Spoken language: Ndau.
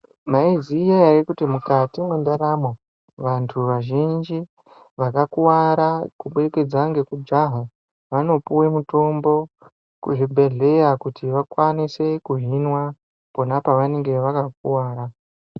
Maiziya ere kuti mukati mwendaramo vantu vazhinji vakakuwara kuburikidza ngekujaha, vanopiwe mutombo kuzvibhedhleya kuti vakwanise kuhinwa pona pavanenge vakakuvara?